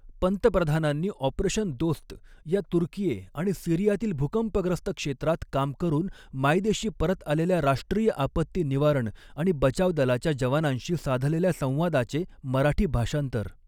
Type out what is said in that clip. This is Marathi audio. पंतप्रधानांनी ऑपरेशन दोस्त या तुर्कीए आणि सिरियातील भूकंपग्रस्त क्षेत्रात काम करून मायदेशी परत आलेल्या राष्ट्रीय आपत्ती निवारण आणि बचाव दलाच्या जवानांशी साधलेल्या संवादाचे मराठी भाषांतर